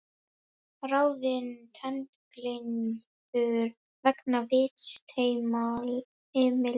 Ráðin tengiliður vegna vistheimila